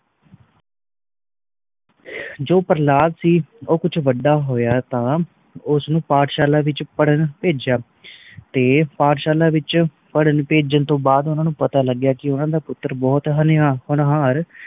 ਜੋ ਪ੍ਰਹਲਾਦ ਸੀ ਓ ਕੁਛ ਵੱਡਾ ਹੋਇਆ ਤਾ ਉਸ ਨੂੰ ਪਾਠਸ਼ਾਲਾ ਵਿਚ ਪੜਣ ਭੇਜਿਆ, ਤੇ ਪਾਠਸ਼ਾਲਾ ਵਿਚ ਪੜਨ ਭੇਜਣ ਤੋਂ ਬਾਅਦ ਊਨਾ ਨੂੰ ਪਤਾ ਲੱਗਿਆ ਕਿ ਊਨਾ ਦਾ ਪੁੱਤਰ ਬਹੁਤ ਹੋਣੀਆਂ ਹੋਨਹਾਰ